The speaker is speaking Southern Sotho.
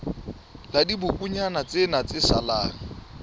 la dibokonyana tsena tse salang